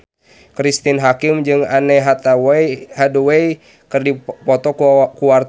Cristine Hakim jeung Anne Hathaway keur dipoto ku wartawan